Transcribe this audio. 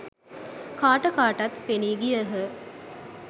කාට කාටත් පෙනී ගියහ.